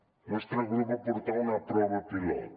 el nostre grup va portar una prova pilot